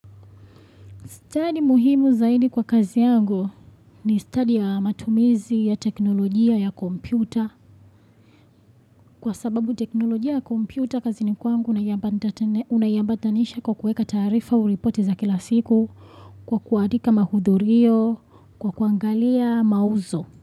Study muhimu zaidi kwa kazi yangu ni study ya matumizi ya teknolojia ya kompyuta kwa sababu teknolojia ya kompyuta kazi ni kwangu unaiabatanisha kwa kuweka taarifa au riporti za kila siku kwa kuadika mahudhurio kwa kuangalia mauzo.